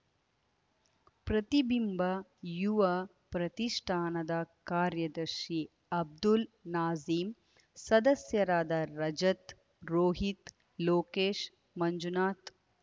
ಪ್ರತಿಬಿಂಬ ಯುವ ಪ್ರತಿಷ್ಠಾನದ ಕಾರ್ಯದರ್ಶಿ ಅಬ್ದುಲ್‌ ನಾಜೀಮ್‌ ಸದಸ್ಯರಾದ ರಜತ್‌ ರೋಹಿತ್‌ ಲೋಕೇಶ್‌ ಮಂಜುನಾಥ್‌